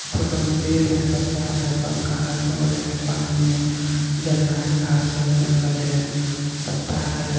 Photo में पेड़ हें पत्ता हें पंका हें बोल हें पानी हें झरना हें घास हें जंगल हें पका हें।